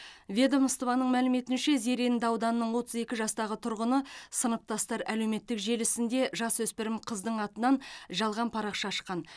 ведомствоның мәліметінше зеренді ауданының отыз екі жастағы тұрғыны сыныптастар әлеуметтік желісінде жасөспірім қыздың атынан жалған парақша ашқан